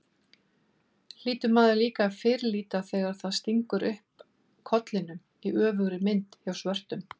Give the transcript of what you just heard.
hlýtur maður líka að fyrirlíta þegar það stingur upp kollinum, í öfugri mynd, hjá svörtum.